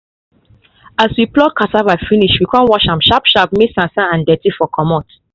as we pluck cassava finish we con wash am sharp sharp may sansan and dirty for comot